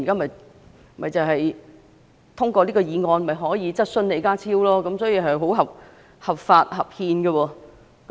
毛孟靜議員透過這項議案向李家超提出質詢，是合法和合憲的。